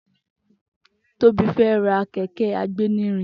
Tobi fè rà kẹkẹ àgbénírìn